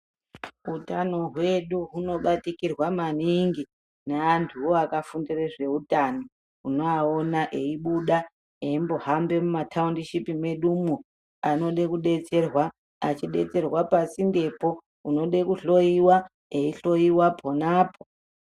Utano hwedu hunobatikirwa maningi neantuwo akafundire zveutano. Unovaona veibuda eimbohambe mumathaundishipi mwedumwo anode kudetserwa eidetserwa pasindepo, unode kuhloyiwa eihloyiwa ponapo.